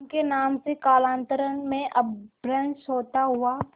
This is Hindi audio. उनके नाम से कालांतर में अपभ्रंश होता हुआ